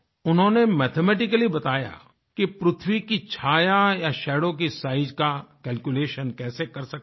उन्होंने मैथमेटिकली बताया कि पृथ्वी की छाया या शैडो की साइज का कैल्कुलेशन कैसे कर सकते हैं